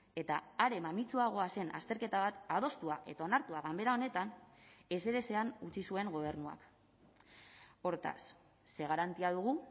eta are mamitsuagoa zen azterketa bat adostua eta onartua ganbera honetan ezerezean utzi zuen gobernuak hortaz ze garantia dugu